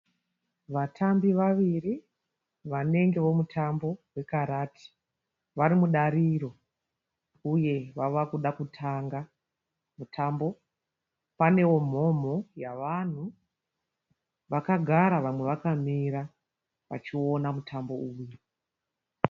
Vatambi vaviri vanenge vomutambo wekarati varimudariro uye vavakuda kutanga mutambo. Panewo mhomho yavanhu vakagara vamwe vakamira vachiona mutambo uyu.